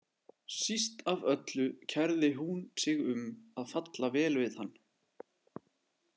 Síst af öllu kærði hún sig um að falla vel við hann.